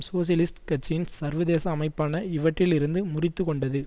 socialist கட்சியின் சர்வதேச அமைப்பான இவற்றில் இருந்து முறித்து கொண்டது